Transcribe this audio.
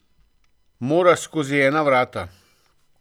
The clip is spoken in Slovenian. Moraš skozi ena vrata.